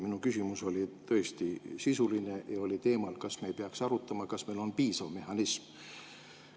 Minu küsimus oli tõesti sisuline ja oli teemal, kas me ei peaks arutama, kas meil on piisav mehhanism.